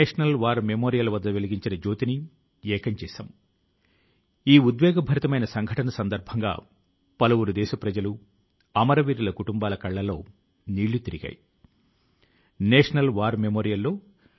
దేశం అమృత మహోత్సవాన్ని జరుపుకొంటున్నప్పుడు ఈ మానవ శక్తి ప్రజల శక్తి ఆ శక్తి ప్రస్తావన ప్రజల కృషి భారతదేశం ప్రజలతో పాటు సమస్త మానవాళి ఉజ్జ్వల భవిష్యత్తు కోసం హామీ ని ఇస్తుంది